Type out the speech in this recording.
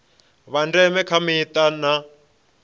vha ndeme kha mita na